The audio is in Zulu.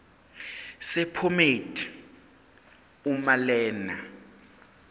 sephomedi uma lena